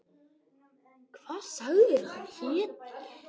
Hvað sagðirðu að hann héti?